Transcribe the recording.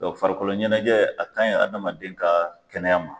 farikolo ɲɛnajɛ a kan ɲi adamaden ka kɛnɛya ma.